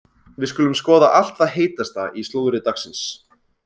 Við skulum skoða allt það heitasta í slúðri dagsins.